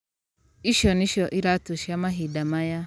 Ici nicio iratũ cĩa mahinda maya.